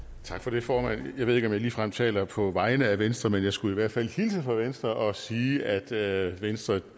tak for det formand jeg ved ikke om jeg ligefrem taler på vegne af venstre men jeg skulle i hvert fald hilse fra venstre og sige at venstre